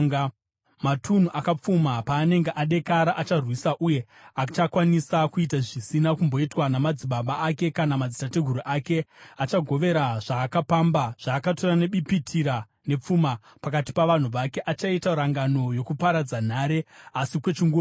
Matunhu akapfuma paanenge adekara, acharwisa uye achakwanisa kuita zvisina kumboitwa namadzibaba ake kana madzitateguru ake. Achagovera zvaakapamba, zvaakatora nebipitira nepfuma, pakati pavanhu vake. Achaita rangano yokuparadza nhare, asi kwechinguva chete.